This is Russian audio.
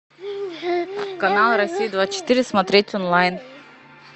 канал россия двадцать четыре смотреть онлайн